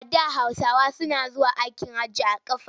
A da Hausawa suna zuwa aikin hajji da ƙafa.